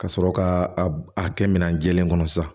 Ka sɔrɔ ka a kɛ minɛn jɛlen kɔnɔ sisan